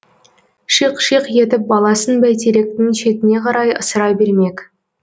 шиқ шиқ етіп баласын бәйтеректің шетіне қарай ысыра бермек